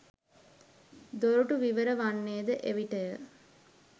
දොරටු විවර වන්නේද එවිටය.